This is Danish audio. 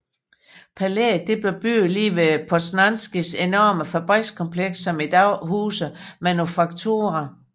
Palæet blev bygget lige ved Poznańskis enorme fabrikskompleks som i dag huser Manufaktura